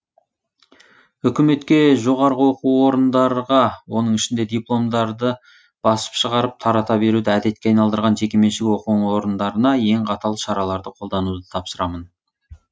үкіметке жоғары оқу орындарға оның ішінде дипломдарды басып шығарып тарата беруді әдетке айналдырған жекеменшік оқу орындарына ең қатал шараларды қолдануды тапсырамын